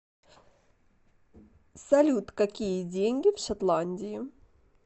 салют какие деньги в шотландии